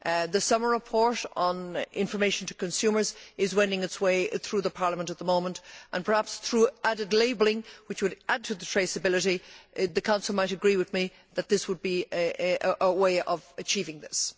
The Sommer report on information to consumers is wending its way through Parliament at the moment, and perhaps through added labelling which would add to the traceability the Council might agree with me that this would be a way of achieving this.